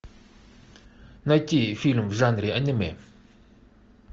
найти фильм в жанре аниме